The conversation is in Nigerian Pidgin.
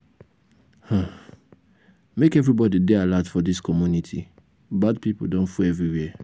make everybody dey alert for dis community bad pipo don full everywhere.